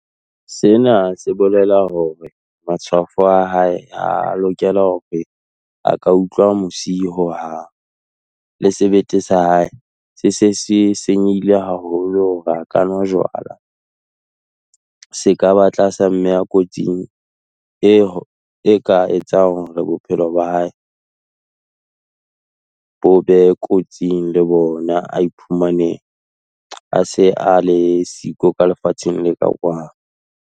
Sena se bolela hore, matshwafo a hae a lokela hore a ka utlwa mosi ho hang, le sebete sa hae, se se se senyehile haholo hore a ka nwa jwala, se ka ba tlasa mme kotsing, e ka etsang hore bophelo ba hae bo be kotsing le bona, a iphumane a se a le siko ka lefatsheng le ka kwano.